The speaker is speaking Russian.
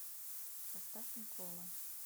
поставь никола